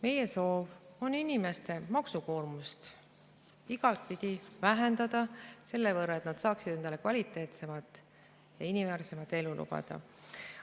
Meie soov on inimeste maksukoormust igatepidi vähendada, et nad saaksid endale kvaliteetsemat ja inimväärsemat elu lubada.